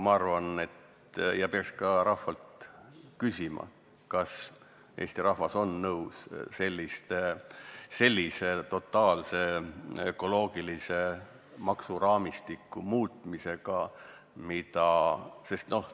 Ma arvan et peaks ka rahvalt küsima, kas eesti rahvas on nõus totaalse ökoloogilise maksuraamistiku muutmisega.